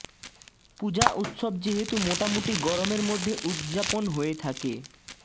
পূজা উৎসব যেহেতু মোটামুটি গরমের মধ্যে উৎযাপন হয়ে থাকে